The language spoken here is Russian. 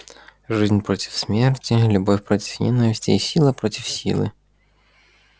жизнь против смерти любовь против ненависти и сила против силы